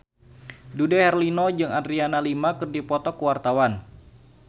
Dude Herlino jeung Adriana Lima keur dipoto ku wartawan